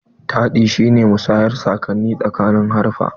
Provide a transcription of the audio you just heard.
Taɗi shi ne musayar saƙonni tsakanin haruffa.